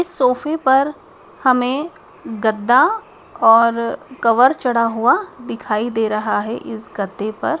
इस सोफे पर हमें गद्दा और कवर चढ़ा हुआ दिखाई दे रहा है इस गद्दे पर --